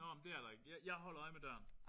Nåh men det er der ikke. Jeg jeg holder øje med døren